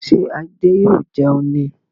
Ṣé Adé yóò jẹun ní